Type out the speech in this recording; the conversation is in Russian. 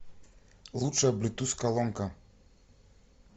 лучшая блютуз колонка